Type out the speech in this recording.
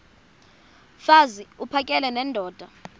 mfaz uphakele nendoda